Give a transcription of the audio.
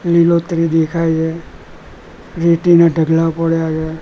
લીલોત્રી દેખાઈ છે રેતીના ઢગલા પડ્યા છે.